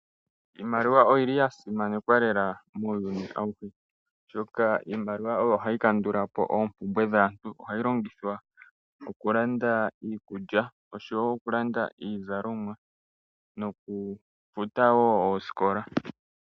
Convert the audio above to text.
Iimaliwa oyili ya simanekwa lela muuyuni awuhe oshoka iimaliwa oyo hayi kandulapo opumbwe dhaantu, ohayi longithwa okulanda iikulya oshowo okulanda iizalomwa noku futa wo osikola.